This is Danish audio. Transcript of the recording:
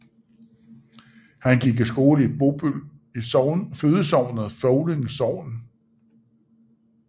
Han gik i skole i Bobøl i fødesognet Føvling Sogn